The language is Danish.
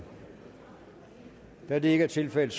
da det ikke er tilfældet